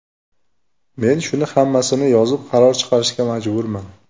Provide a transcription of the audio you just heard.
Men shuni hammasini yozib, qaror chiqarishga majburman.